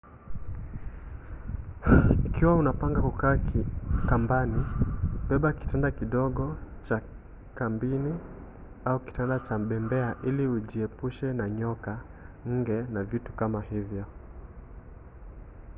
ikiwa unapanga kukaa kambini beba kitanda kidogo cha kambini au kitanda cha bembea ili ujiepushe na nyoka nge na vitu kama hivyo